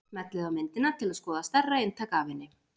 Smellið á myndina til að skoða stærra eintak af henni.